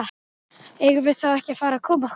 Eigum við þá ekki að fara að koma okkur?